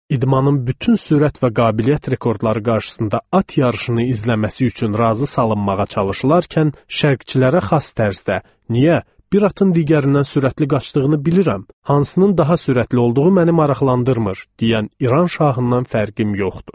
İdmanın bütün sürət və qabiliyyət rekordları qarşısında at yarışını izləməsi üçün razı salınmağa çalışılarkən, şərqçilərə xas tərzdə, niyə bir atın digərindən sürətli qaçdığını bilirəm, hansının daha sürətli olduğu məni maraqlandırmır, deyən İran şahından fərqim yoxdur.